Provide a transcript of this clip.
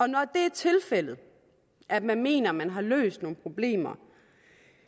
når det er tilfældet at man mener at man har løst nogle problemer